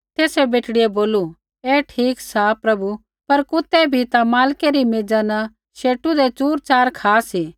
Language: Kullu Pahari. तेसै बेटड़ियै बोलू ऐ ठीक सा प्रभु पर कुतै भी ता मालकै री मेज़ा न शेटु दै चूरच़ार खा सी